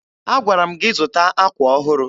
Agwara m gị zụta akwa ọhụrụ.